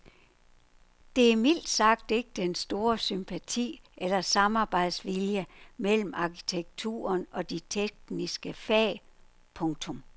Der er mildt sagt ikke den store sympati eller samarbejdsvilje mellem arkitekturen og de tekniske fag. punktum